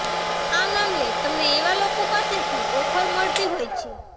આ મામલે તમને એવા લોકો પાસેથી ઓફર મળતી હોય છે